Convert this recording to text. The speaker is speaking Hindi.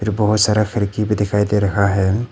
जो बहोत सारा खिड़की भी दिखाई दे रहा है।